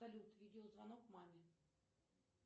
салют видео звонок маме